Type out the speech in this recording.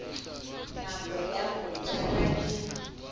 nako ya ho jala e